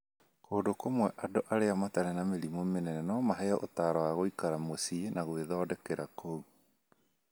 Kũndũ kũmwe, andũ arĩa matarĩ na mĩrimũ mĩnene no maheo ũtaaro wa gũikara mũciĩ na gwĩthondekera kũu.